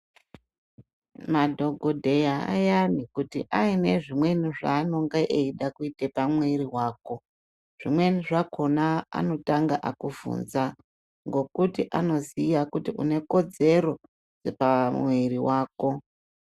Madhokodheya ayani kuti aine zvimweni zvanenge eida ite pamwiri wako zvimweni zvakona anototanga akuvhunza ngokuti anoziya unekodzero pamumwiri wako.